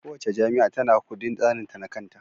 Kowace jami'a tana da kudin tsarinta na kanta.